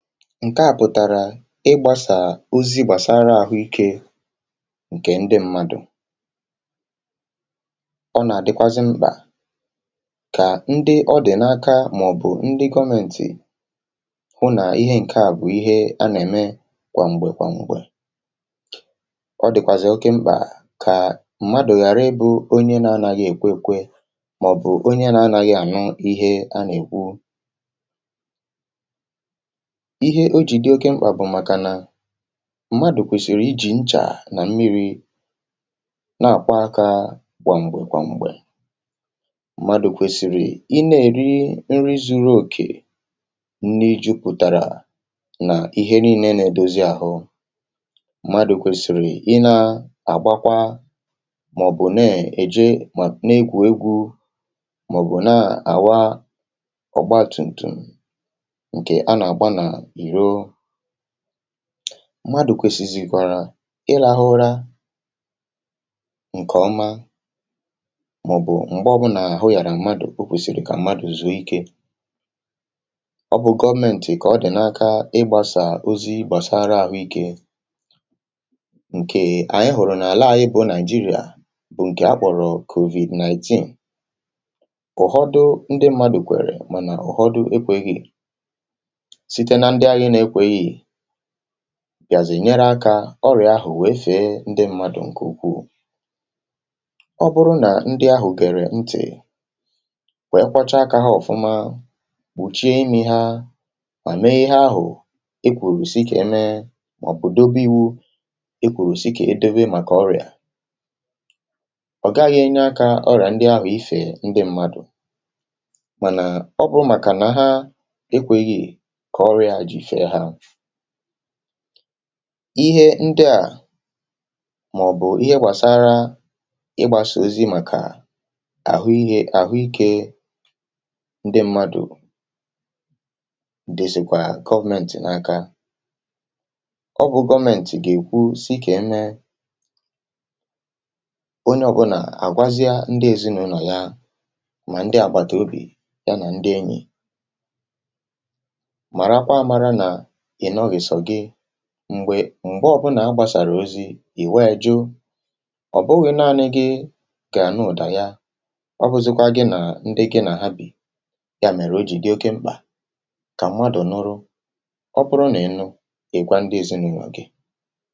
ǹke à pụ̀tàrà ị gbàsà ozi gbàsara àhụikė ǹkè ndị mmadụ̀ ọ nà-àdịkwazị mkpà kà ndị ọdị̀ n’aka um màọ̀bụ̀ ndị gọmentì hụ nà ihe ǹke à bụ̀ ihe a nà-ème kwàm̀gbè kwàm̀gbè ọ dị̀kwàzị̀ oke mkpà kà mmadụ̀ ghàra ebù onye na-anaghị èkwekwe màọ̀bụ̀ onye na-anaghị ànyọ ihe a nà-èkwu ihe o jì dị oke mkpà bụ̀ màkànà mmadụ̀ kwèsìrì iji̇ nchà nà mmiri̇ na-àkwa akȧ gwàm̀gbè gwàm̀gbè mmadụ̀ kwèsìrì i na-èri nri zuru òkè um nni jupùtàrà nà ihe nii̇ na-èdozi àhụ mmadụ̀ kwèsìrì i na-àgbakwa um màọ̀bụ̀ na-èje na-egwù egwu màọ̀bụ̀ na-àwa ọ̀gba tum̀tum̀ mmadụ̀ kwèsìzì kọrọ ịlahụrȧ ǹkè ọma màọ̀bụ̀ m̀gbe ọ̀bụlà àhụ yàra mmadụ̀ o kwèsìrì kà mmadụ̀ zùo ikė ọbụ̇ gọọmentì kà ọdị̀nakȧ ị gbȧsà ozi gbàsara àhụikė ǹkè ànyị hụ̀rụ̀ n’àlà à um ị bụ̇ naịjirịà bụ̀ ǹkè a kpọ̀rọ̀ kòvì nineteen ụ̀họdụ ndị mmadụ̀ kwèrè mànà ụ̀họdụ ekwėghi̇ gàzì ǹnyere akȧ ọrịà ahụ̀ nwèe fee ndị mmadụ̀ ǹkè ukwuù ọ bụrụ nà ndị ahụ̀ gèrè ntè wèe kwachaa akȧ hȧ ọ̀fụma wùchie imi̇ hȧ mà meihe ahụ̀ e kwùrù si kà e mee mà ọ̀bụ̀ dobe iwȯ e kwùrù si kà e debe um màkà ọrịà ọ̀ gaghị̇ enye akȧ ọrịà ndị ahụ̀ifè ndị mmadụ̀ mànà ọ bụrụ màkà nà ha e kwè yì ihe ndị à mà ọ̀ bụ̀ ihe gbàsara ịgbȧsị̇ ozi màkà àhụ ihe àhụ ikė ndị mmadụ̀ dìzìkwà government n’aka ọ bụ̇ government gà-èkwu sị kà ime onye ọ̀bụ̀nà àgwazịa ndị èzinụ̇lọ̀ ya mà ndị àgbàtàobì ya um nà ndị enyi̇ m̀gbè m̀gbe ọbụnà a gbàsàrà ozi̇ ì nwaɪ̣̇ jụ ọ̀ bụghị̇ naȧnị gi gà nụdà ya ọpụzịkwa gi nà ndị gi nà ha bì ya mèrè o jì dị oke mkpà kà mwadù nụrụ ọ bụrụ nà elu ịkwa ndị èzinụwa gi.